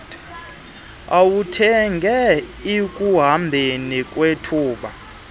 awuthenge ekuhambeni kwethuba